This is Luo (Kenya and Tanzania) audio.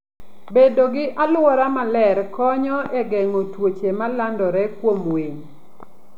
Bedo gi alwora maler konyo e geng'o tuoche ma landore kuom winy.